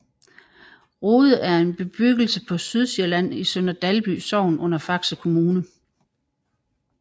Rode er en bebyggelse på Sydsjælland i Sønder Dalby Sogn under Faxe Kommune